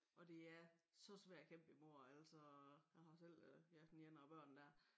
Og det er så svært at kæmpe imod altså jeg har selv øh ja den ene af børnene dér